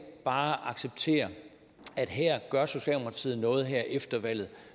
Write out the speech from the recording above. bare acceptere at her gør socialdemokratiet noget efter valget